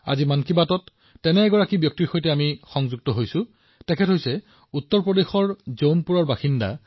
আজি এনে এজন সহযোগীয়ে আমাৰ সৈতে মন কী বাতত যোগদান কৰিছে শ্ৰীমান দিনেশ উপাধ্যায়জী উত্তৰ প্ৰদেশৰ জৌনপুৰৰ বাসিন্দা